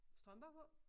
Strømper på